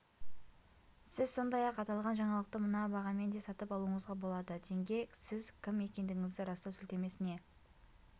сіз сондай-ақ аталған жаңалықты мына бағамен де сатып алуыңызға болады тенге сіз кім екендігіңізді растау сілтемесіне